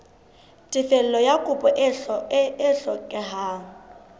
tefello ya kopo e hlokehang